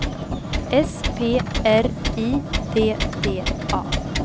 S P R I D D A